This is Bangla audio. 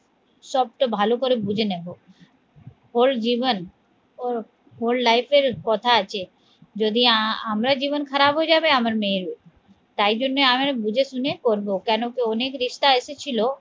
সবটা ভালো করে বুঝে নেবো ওর জীবন ওর hole life এর কথা আছে যদি আহ আমরা জীবন খারাপ হয়ে যাবে আমার মেয়ের ও তাই জন্যে আমি বুঝে শুনে করবো কেন কি অনেক রিস্তা এসেছিল